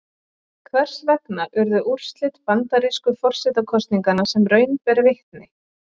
Hvers vegna urðu úrslit bandarísku forsetakosninganna sem raun ber vitni?